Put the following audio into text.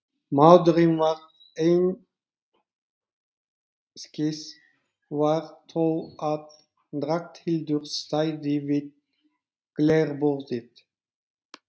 Maðurinn varð einskis var þó að Ragnhildur stæði við glerborðið.